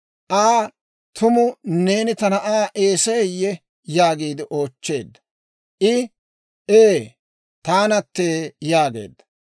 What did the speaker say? Aa, «Tumu neeni ta na'aa Eeseyee?» yaagiide oochcheedda. I, «Ee, taanattee» yaageedda.